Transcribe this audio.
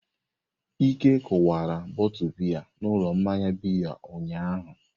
Ike kụwara bọtu biya n'ụlọ mmanya bịya ụnyahụ.